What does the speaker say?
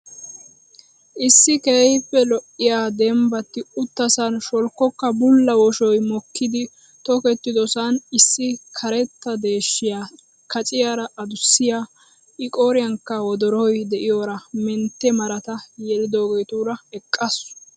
Issi keehiippe lo'iya dembbatti uttasaan sholkkoka bulla woshoy mokkidi tokkiddosan issi karetta deeshshiya kacciyaara adussiya I qooriyankka woddoroy diyoora mentte marata yelidoogeetuura eqqaasu.